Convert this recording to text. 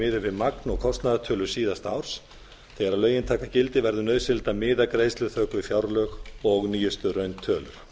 miðuð við magn og kostnaðartölur síðasta árs þegar lögin taka gildi verður nauðsynlegt að miða greiðsluþök við fjárlög og nýjustu rauntölur